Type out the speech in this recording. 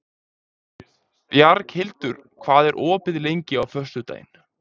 Bjarghildur, hvað er opið lengi á föstudaginn?